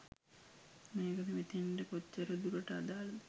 මේක මෙතන්ට කොච්චර දුරට අදාලද